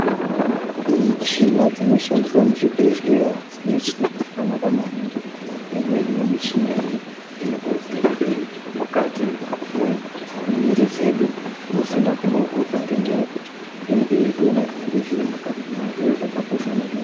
Kune michina dzinoshandiswa muzvibhedhleya, michina dzakanaka maningi. Imweni yemichina iyi inotovheneke mukati mwemwiri dzedu, musina kumbovhurwa ngenyaya yekuti, inenge yeitoona zvinenge zviri mukati, zvinova zviro zvakakosha maningi.